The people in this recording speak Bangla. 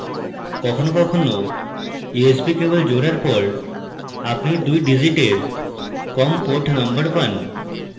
কখনো কখনো usb cable জোড়ার পর আপনি দুই digit com port number পান